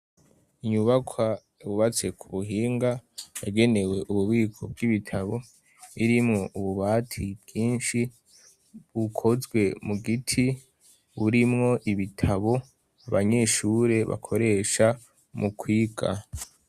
Inyubaka bubatse ku buhinga yagenewe ububiko bw'ibitabo irimwo ububati bwinshi bukozwe mu giti burimwo ibitabo abanyishure bakoresha mu kwiga.